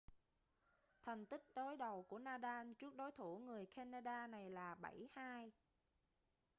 thành tích đối đầu của nadal trước đối thủ người canada này là 7-2